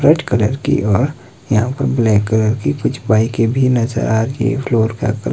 red colour की और यहां पर ब्लैक कलर की कुछ बाइकें भी नजर आ रही है फ्लोर का कल --